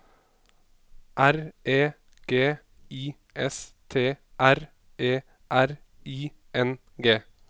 R E G I S T R E R I N G